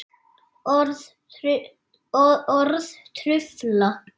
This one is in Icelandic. Orð trufla.